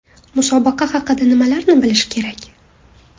Musobaqa haqida nimalarni bilish kerak?.